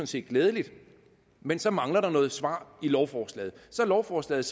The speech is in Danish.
set glædeligt men så mangler der et svar i lovforslaget så er lovforslaget